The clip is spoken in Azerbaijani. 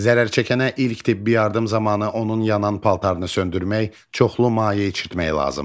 Zərərçəkənə ilk tibbi yardım zamanı onun yanan paltarını söndürmək, çoxlu maye içirtmək lazımdır.